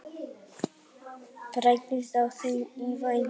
Breytingar á þingsköpum í vændum